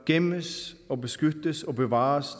gemmes og beskyttes og bevares